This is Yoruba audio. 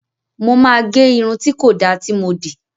Mo máa gé irun tí kò dáa tí mo dì